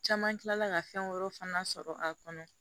Caman kilala ka fɛn wɛrɛ fana sɔrɔ a kɔnɔ